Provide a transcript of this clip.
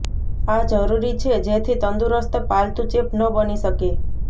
આ જરૂરી છે જેથી તંદુરસ્ત પાલતુ ચેપ ન બની શકે